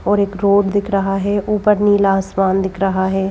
और एक रोड दिख रहा है ऊपर नीला आसमान दिख रहा है।